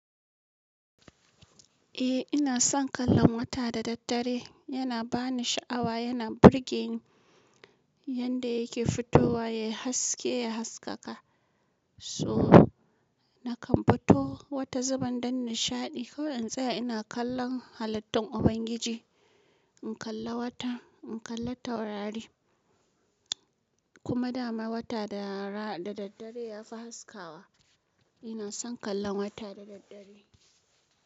Eh ina son kallon wata da daddare, yana ba ni sha'awa, yana burge ni yanda yake fitowa ya haske ya haskaka. So nakan fito wata zubin don nishaɗi. Ko in tsaya ina kallon halittun Ubangiji, in kalla wata, in kalla taurari kuma dama wata da daddare ya fi haskawa. Ina son kallon wata da daddare.